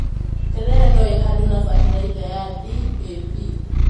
Terere no ĩhandwo na bataraitha ya DAP.